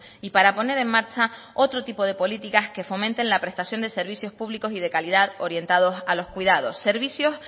y para poner en marcha otro tipo de políticas que fomenten la prestación de servicios públicos y de calidad orientados a los cuidados servicios